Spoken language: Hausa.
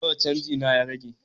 Nawa canji na ya rage?